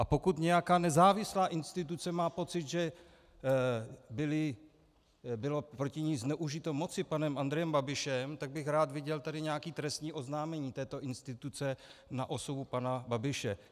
A pokud nějaká nezávislá instituce má pocit, že bylo proti ní zneužito moci panem Andrejem Babišem, tak bych rád viděl tady nějaké trestní oznámení této instituce na osobu pana Babiše.